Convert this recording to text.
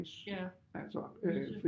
Ja vice